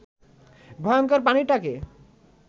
ভয়ংকর প্রাণীটাকে